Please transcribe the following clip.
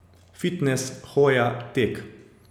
Fitnes, hoja, tek ...